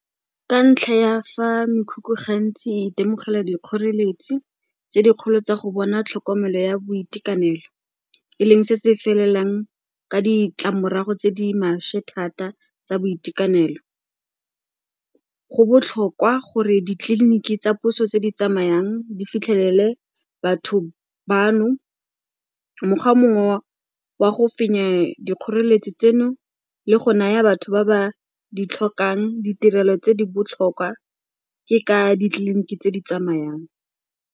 Ka ntlha ya fa mekhukhu ga ntsi e itemogela dikgoreletsi tse dikgolo tsa go bona tlhokomelo ya boitekanelo, e leng se se felelang ka ditlamorago tse di maswe thata tsa boitekanelo, go botlhokwa gore ditleliniki tsa puso tse di tsamayang di fitlhelele batho bano. Mokgwa mongwe wa go fenya dikgoreletsi tseno le go naya batho ba ba di tlhokang, ditirelo tse di botlhokwa ke ka ditleliniki tse di tsamayang.